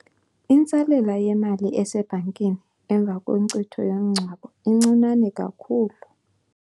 Intsalela yemali esebhankini emva kwenkcitho yomngcwabo incinane kakhulu.